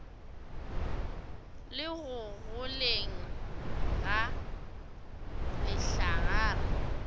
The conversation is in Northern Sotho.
le go goleng ga lehlagare